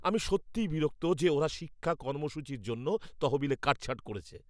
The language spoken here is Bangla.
আমি সত্যিই বিরক্ত যে ওরা শিক্ষা কর্মসূচির জন্য তহবিলে কাটছাঁট করছে।